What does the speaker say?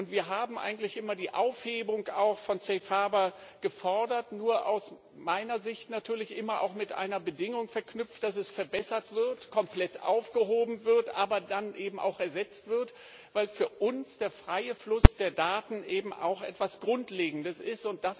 Wir haben eigentlich immer auch die Aufhebung von Safe Harbour gefordert, nur aus meiner Sicht natürlich immer auch mit einer Bedingung verknüpft, dass es verbessert wird, komplett aufgehoben wird, aber dann eben auch ersetzt wird, weil für uns der freie Fluss der Daten eben auch etwas Grundlegendes ist.